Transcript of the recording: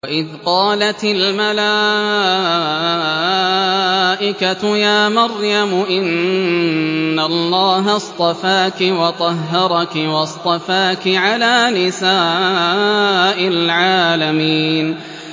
وَإِذْ قَالَتِ الْمَلَائِكَةُ يَا مَرْيَمُ إِنَّ اللَّهَ اصْطَفَاكِ وَطَهَّرَكِ وَاصْطَفَاكِ عَلَىٰ نِسَاءِ الْعَالَمِينَ